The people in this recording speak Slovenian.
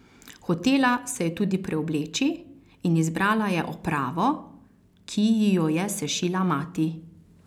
Hotela se je tudi preobleči, in izbrala je opravo, ki ji jo je sešila mati.